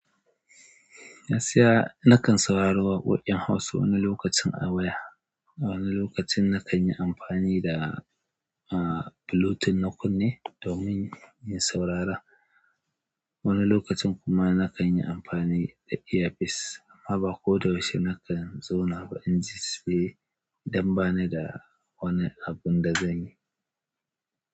Gaskiya, na kan saurari waƙoƙin Hausa wani lokacin a waya. Wani lokacin na kan yi amfani da, Bluetooth na kunne domin in saurara. Wani lokacin kuma na kan yi amfani da earpiece amma ba ko da yaushe na kan zauna ba. Anjiye su biyu don ba ni da wani abun da zanyi.